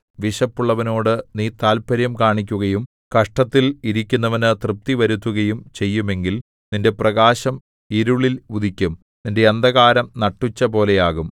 വിശപ്പുള്ളവനോടു നീ താത്പര്യം കാണിക്കുകയും കഷ്ടത്തിൽ ഇരിക്കുന്നവന് തൃപ്തി വരുത്തുകയും ചെയ്യുമെങ്കിൽ നിന്റെ പ്രകാശം ഇരുളിൽ ഉദിക്കും നിന്റെ അന്ധകാരം നട്ടുച്ചപോലെയാകും